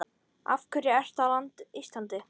Af hverju ertu á Íslandi?